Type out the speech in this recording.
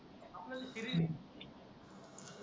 आपल शरीर